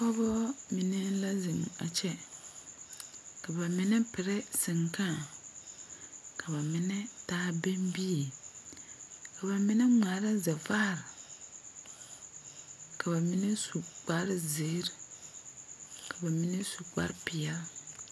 Pɔɔbɔ mine la zeŋ a kyɛ ka ba mine pirɛ sengkãã ka ba mine taa bɛŋbie ka mine ngmaara zɛvaare ka ba mine su kparezeere ka ba mine su kparepeɛɛl.